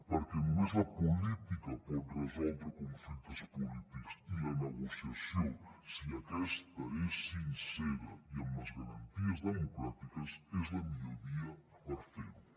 perquè només la política pot resoldre conflictes polítics i la negociació si aquesta és sincera i amb les garanties democràtiques és la millor via per fer ho